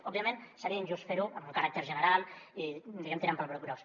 òbviament seria injust fer ho amb un caràcter general i diguem ne tirant pel broc gros